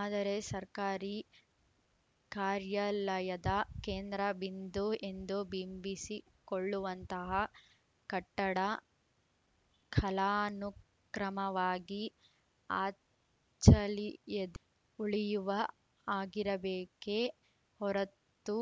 ಆದರೆ ಸರ್ಕಾರಿ ಕಾರ್ಯಾಲಯದ ಕೇಂದ್ರಬಿಂದು ಎಂದು ಬಿಂಬಿಸಿಕೊಳ್ಳುವಂತಹ ಕಟ್ಟಡ ಕಲಾನುಕ್ರಮವಾಗಿ ಅಚ್ಚಲಿಯದ್ ಉಳಿಯುವ ಹಾಗಿರಬೇಕೇ ಹೊರತು